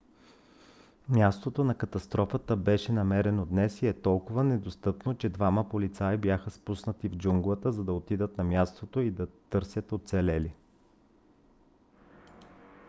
мястото на катастрофата беше намерено днес и е толкова недостъпно че двама полицаи бяха спуснати в джунглата за да отидат на мястото и да търсят оцелели